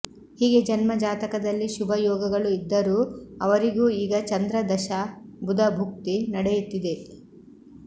ಹೀಗೆ ಜನ್ಮ ಜಾತಕದಲ್ಲಿ ಶುಭ ಯೋಗಗಳು ಇದ್ದರೂ ಅವರಿಗೂ ಈಗ ಚಂದ್ರ ದಶಾ ಬುಧ ಭುಕ್ತಿ ನಡೆಯುತ್ತಿದೆ